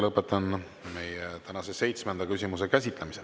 Lõpetan tänase seitsmenda küsimuse käsitlemise.